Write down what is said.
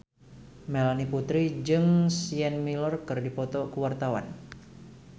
Melanie Putri jeung Sienna Miller keur dipoto ku wartawan